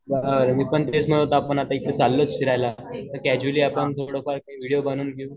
ह्ह तेच म्हणत होतो आपण आता इकडे चालोयच फिरायला तर कॅसुअल्ली आपण थोडंफार विडिओ बनवून घेऊ.